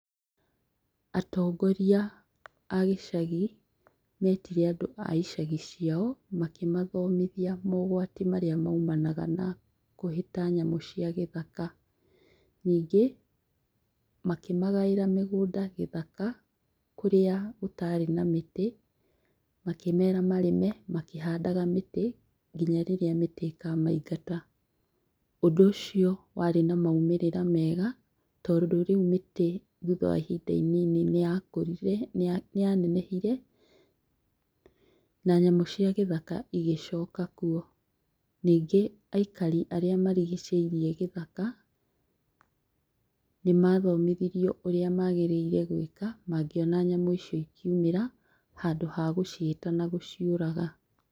Atongoria a gĩcagi metire andũ a icagi ciao makĩmathomithia mogwati marĩa maumanaga na kũhĩta nyamũ cia gĩthaka. Nyingĩ, makĩmagaĩra mĩgũnda gĩthaka kũrĩa gũtarĩ na mĩtĩ, makĩmera marĩme makĩndaga mĩtĩ nginya rĩrĩa mĩtĩ ĩkamaingata. ũndũ ũcio rĩu warĩ na maumĩrĩra mega tondũ rĩu mĩtĩ thutha wa ihinda inini nĩyakũrire nĩyanenehire na nyamũ cia gĩthaka igĩcoka kuo. Nyingĩ aikari arĩa marigicĩirie gĩthaka, nĩmathomithirio ũrĩa mabatiĩ gwĩka mangĩona nyamũ icio ciamĩra handũ hagũcihĩta na gũciũraga.